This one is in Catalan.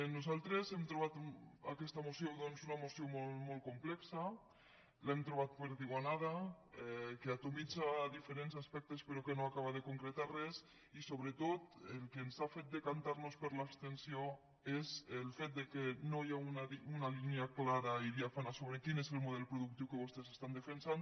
nosaltres hem trobat aquesta moció doncs una moció molt complexa l’hem trobat perdigonada que atomitza diferents aspectes però que no acaba de concretar res i sobretot el que ens ha fet decantar nos per l’abstenció és el fet que no hi ha una línia clara i diàfana sobre quin és el model productiu que vostès defensen